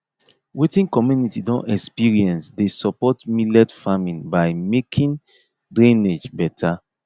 wetin community don experience dey support millet farming by making drainage better